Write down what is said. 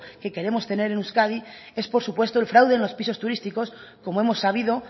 que queremos tener en euskadi es por supuesto el fraude de los pisos turísticos como hemos sabido